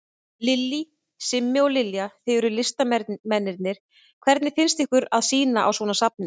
Lillý: Simmi og Lilja, þið eruð listamennirnir, hvernig finnst ykkur að sýna á svona safni?